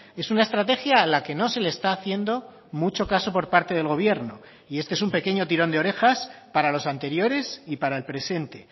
es una estrategia a la que no se le está haciendo mucho caso por parte del gobierno y este es un pequeño tirón de orejas para los anteriores y para el presente